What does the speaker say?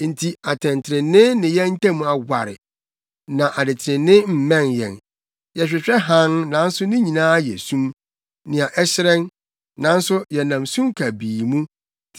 Enti atɛntrenee ne yɛn ntam aware, na adetrenee mmɛn yɛn. Yɛhwehwɛ hann, nanso ne nyinaa yɛ sum; nea ɛhyerɛn, nanso yɛnam sum kabii mu.